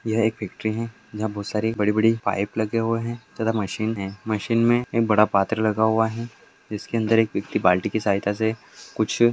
यह एक फैक्ट्री हैं यहाँ बहुत सारी बड़ी बड़ी पाइप लगे हुए हैं मशीन है मशीन में एक बड़ा पात्रे लगा हुआ है जिसके अंदर एक व्यक्ति बाल्टी के सहायता से कुछ--